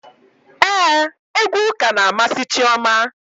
Éè, egwu ụka na amasị Chioma